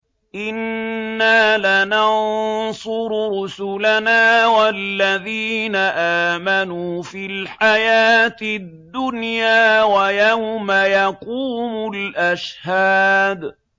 إِنَّا لَنَنصُرُ رُسُلَنَا وَالَّذِينَ آمَنُوا فِي الْحَيَاةِ الدُّنْيَا وَيَوْمَ يَقُومُ الْأَشْهَادُ